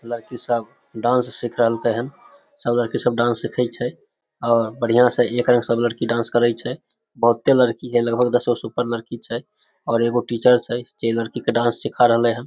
लड़की सब डांस सिख रहल के हन सब लड़की सब डांस सीखे छै और बढ़िया से एक रंग डांस सब करे छै बहुत लड़की हेय लगभग दस गो के ऊपर लड़की छै और एगो टीचर छै जे लड़की के डांस सीखा रहले हेय ।